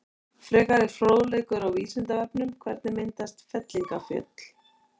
Frekari fróðleikur á Vísindavefnum: Hvernig myndast fellingafjöll?